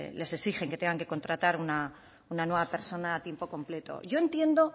les exigen que tengan que contratar una nueva persona a tiempo completo yo entiendo